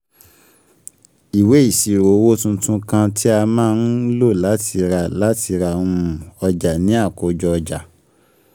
Ìwé ìṣírò owó tuntun kan tí a má ń lò láti ra um láti ra um ọjà ni àkójọ ọjà.